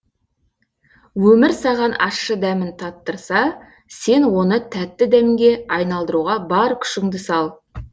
өмір саған ащы дәмін татырса сен оны тәтті дәмге айналдыруға бар күшіңді сал